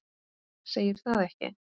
Segir það ekki?